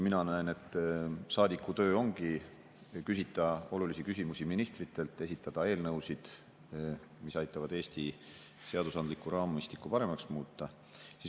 Mina näen, et saadiku töö ongi küsida olulisi küsimusi ministritelt, esitada eelnõusid, mis aitavad Eesti seadusandlikku raamistikku paremaks muuta.